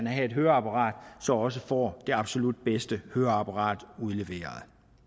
have et høreapparat så også får det absolut bedste høreapparat udleveret